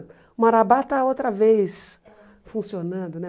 O Marabá está outra vez funcionando, né?